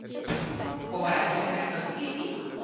Og var ekki hægt að ljúka því í tíma?